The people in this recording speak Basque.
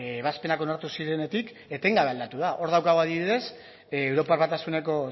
ebazpenak onartu zirenetik etengabe aldatu da hor daukagu adibidez europar batasuneko